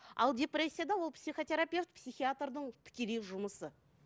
ал депрессияда ол психотерапевт психиатрдың тікелей жұмысы